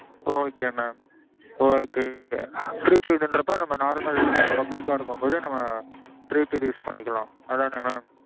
okay mam. okay prepaid ங்குறப்போ நம்ம normal public அ இருக்கும் போது நம்ம prepaid use பண்ணிக்கலாம். அதானே mam.